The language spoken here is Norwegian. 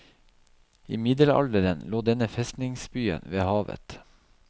I middelalderen lå denne festningsbyen ved havet.